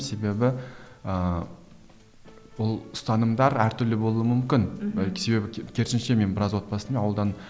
себебі ііі ол ұстанымдар әр түрлі болуы мүмкін мхм себебі керісінше мен біраз ауылдан